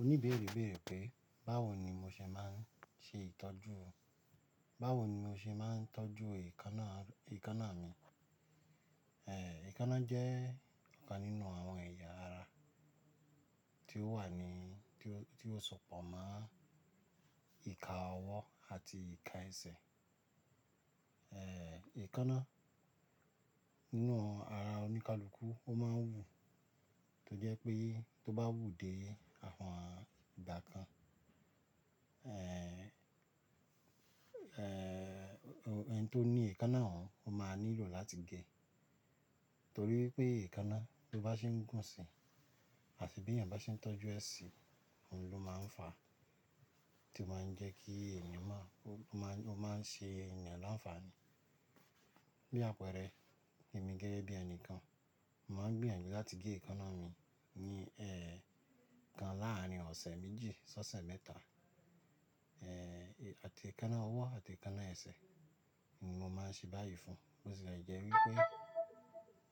Oní bèrè béèrè pé, báwo ni mo ṣe máa ń ṣe ìtọ́jú? Báwo ni mo ṣe máa ń tọ́jú èékánná, èékánná mi? Èékánná jẹ́ ọ̀kan nínú àwọn ẹ̀yà ara tí ó wà ní, tí ó, tí ó sọ̀pọ̀ mọ́ ìka ọwọ́ àti ìka ẹsẹ̀. Èékánná nínú ara oníkálukú ó máa ń wù tó jẹ́ pé tó bá wù dé àwọn ìgbà kan ẹni tó ní èékánná òun ó máa nílò láti gé. Nítorí pé èékánná tó bá ṣe ń gùn si àti bí èèyàn bá ṣe ń tọ́jú ẹ́ sí i, òun ló máa ń fa tí ó máa ń jẹ́ kí èèyàn máa, ó máa, ó máa ń ṣe èèyàn láǹfààní. Bí àpẹẹrẹ, èmi gẹ́gẹ́ bí ẹni kan, mo máa ń gbìyànjú láti gé èékánná mi ní, ẹ́kan láàrin ọ̀sẹ̀ méjì, ṣọ́ṣẹ̀ mẹ́ta. Àti èékánná ọwọ́ àti èékánná ẹsẹ̀ ni mo máa ń ṣe báyìí fún. Bó tilẹ̀ jẹ́ wípé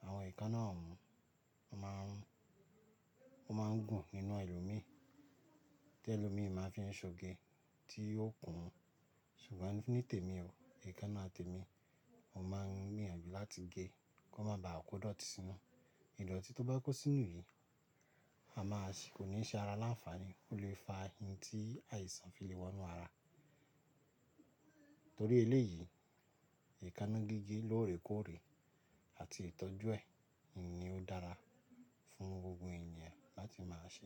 àwọn èékánná òun ó máa ń, ó máa ń gùn nínú elomi, tí èlòmi máa fi ṣe ò ge tí ó kùn ún. Ṣùgbọ́n ní tèmi o, èékánná tèmi mo máa ń gbìyànjú láti gé kó má ba à kó dọ̀tí sínú. Ìdọ̀tí tó bá kó sínú yìí, a máa sì kò ní ṣe ara láǹfààní, ó lè fa ohun tí àìsàn fi lè wọ inú ara. Nítorí eléyìí, èékánná gígé lóòrèkóòrè àti ìtọ́jú ẹ̀ ni ó dára fún gbogbo èèyàn láti máa ṣe.